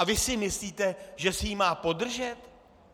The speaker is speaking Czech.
A vy si myslíte, že si ji má podržet?